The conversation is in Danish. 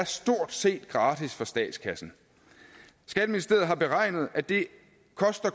stort set er gratis for statskassen skatteministeriet har beregnet at det